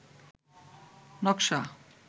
নকশা